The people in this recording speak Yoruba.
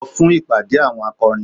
Lọ fún ìpàdé àwọn akọrin!